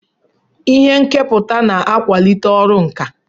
Ihe nkepụta na-akwalite ọrụ nka